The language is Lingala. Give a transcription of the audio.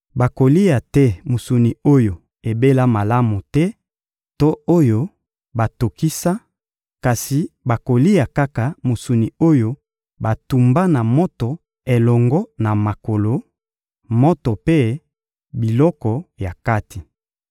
Bakolia te mosuni oyo ebela malamu te to oyo batokisa, kasi bakolia kaka mosuni oyo batumba na moto elongo na makolo, moto mpe biloko ya kati.